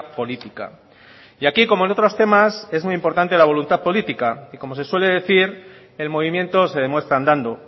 política y aquí como en otros temas es muy importante la voluntad política y como se suele decir el movimiento se demuestra andando